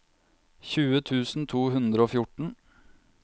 tjue tusen to hundre og fjorten